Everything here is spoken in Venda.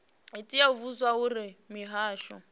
tea u vhudzwa uri mihasho